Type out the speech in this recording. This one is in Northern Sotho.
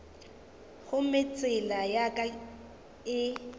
gomme tsela ya ka e